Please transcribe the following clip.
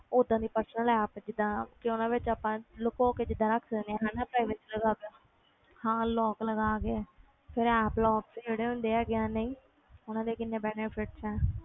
ਓਦਾਂ ਦੀ personal app ਜਿੱਦਾਂ ਕਿ ਉਹਦੇ ਵਿੱਚ ਆਪਾਂ ਲਕੋ ਕੇ ਜਿੱਦਾਂ ਰੱਖ ਸਕਦੇ ਹਾਂ ਹਨਾ privacy ਲਗਾ ਕੇ ਹਾਂ lock ਲਗਾ ਕੇ ਫਿਰ app lock ਜਿਹੜੇ ਹੁੰਦੇ ਹੈਗੇ ਆ ਨਹੀਂ ਉਹਨਾਂ ਦੇ ਕਿੰਨੇ benefits ਹੈ